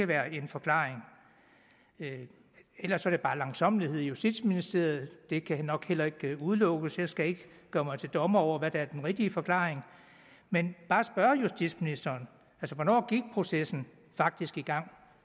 være en forklaring ellers er det bare langsommelighed i justitsministeriet det kan nok heller ikke udelukkes jeg skal ikke gøre mig til dommer over hvad der er den rigtige forklaring men bare spørge justitsministeren hvornår gik processen faktisk i gang